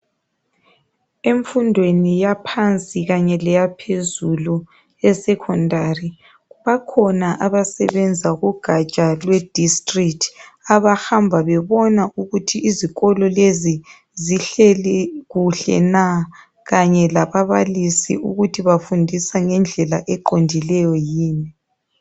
Emfundweni yaphansi kanye leyaphezulu e secondary, bakhona abasebenza kugatsha lwe district, abahamba bebona ukuthi izikolo lezi zihleli kuhle na kanye lababalisi ukuthi bafundisa ngendlela eqondileyo yini.